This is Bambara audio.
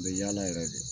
N bɛ yaala yɛrɛ de